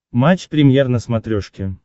матч премьер на смотрешке